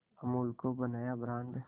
अमूल को बनाया ब्रांड